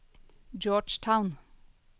Georgetown